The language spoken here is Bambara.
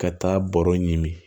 Ka taa bɔrɔ ɲini